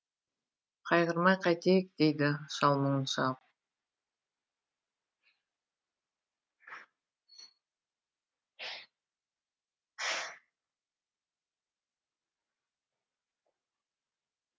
қайғырмай қайтейік дейді шал мұңын шағып